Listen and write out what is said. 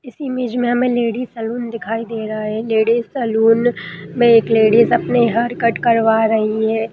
इस इमेज में हमें लेडिज सैलून दिखाई दे रहा है लेडिज सैलून में एक लैडी अपने हेयर कट करवा रही है।